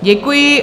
Děkuji.